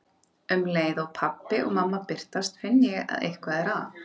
Um leið og pabbi og mamma birtast finn ég að eitthvað er að.